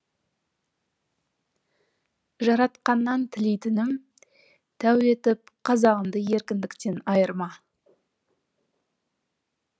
жаратқаннан тілейтінім тәу етіп қазағымды еркіндіктен айырма